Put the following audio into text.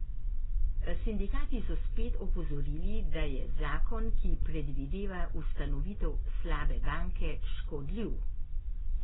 Sindikati so spet opozorili, da je zakon, ki predvideva ustanovitev slabe banke, škodljiv.